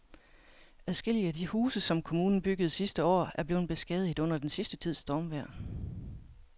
Adskillige af de huse, som kommunen byggede sidste år, er blevet beskadiget under den sidste tids stormvejr.